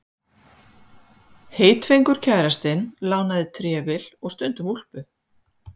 Heitfengur kærastinn lánaði trefil og stundum úlpu.